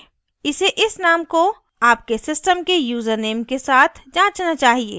#इसे इस name को आपके system के यूज़रनेम के साथ जाँचना चाहिए